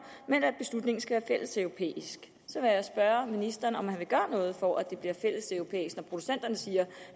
men at beslutningen skal være fælleseuropæisk så vil jeg spørge ministeren om han vil gøre noget for at det bliver fælleseuropæisk når producenterne siger